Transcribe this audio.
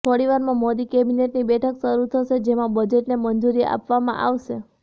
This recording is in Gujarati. થોડીવારમાં મોદી કેબિનેટની બેઠક શરૂ થશે જેમાં બજેટને મંજૂરી આપવામાં આવશે